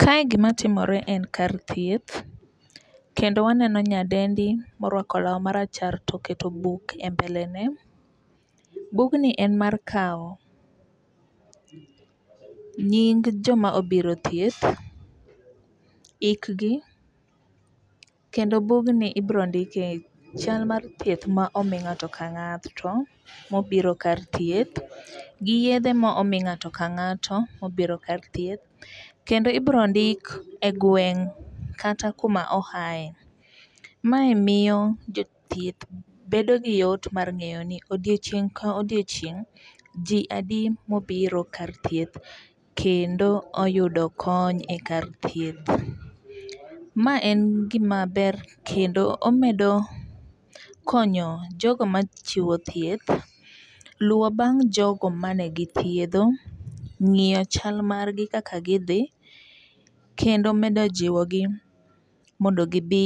Kae gima timore en kar thieth. Kendo waneno nyadendi morwako law marachar toketo buk e mbelene. Bugni en mar kaw nying joma obiro e thieth, ik gi. Kendo bugni ibiro ndikie chal mar thieth ma omi ng'ato ka ng'ato mobiro kar thieth gi yedhe ma omi ng'ato ka ng'ato mobiro kar thieth. Kendo ibiro ndik e gweng' kata kuma oae. Mae miro jothieth bedo gi yot mar ng'eyo ni odiochieng' ka odioochieng' ji adi mobiro kar thieth kendo oyudo kony kar thieth. Ma en gima ber kendo omedo konyo jogo machiwo thieth, luwo bang' jogo mane githiedho, ng'iyo chal margi kaka gidhi, kendo medo jiwo gi mondo gibi